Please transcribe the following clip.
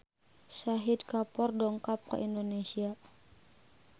Shahid Kapoor dongkap ka Indonesia